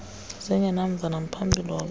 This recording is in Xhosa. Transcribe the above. zingenamva namphambili wabona